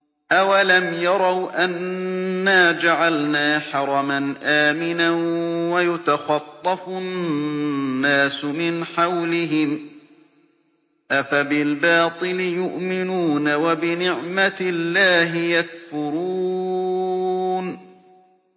أَوَلَمْ يَرَوْا أَنَّا جَعَلْنَا حَرَمًا آمِنًا وَيُتَخَطَّفُ النَّاسُ مِنْ حَوْلِهِمْ ۚ أَفَبِالْبَاطِلِ يُؤْمِنُونَ وَبِنِعْمَةِ اللَّهِ يَكْفُرُونَ